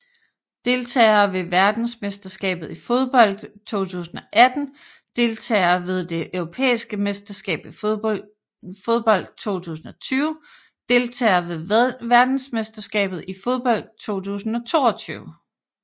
Deltagere ved verdensmesterskabet i fodbold 2018 Deltagere ved det europæiske mesterskab i fodbold 2020 Deltagere ved verdensmesterskabet i fodbold 2022